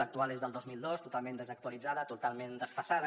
l’actual és del dos mil dos totalment desactualitzada totalment desfasada